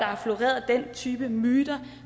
har floreret den type myter